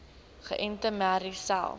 geënte merries selfs